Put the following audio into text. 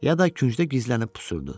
Ya da küncdə gizlənib pusurdu.